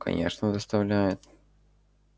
конечно доставляет